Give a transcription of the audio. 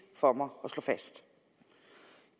for mig at slå fast